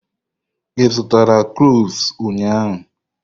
Ị zụtara cloves ụnyaahụ?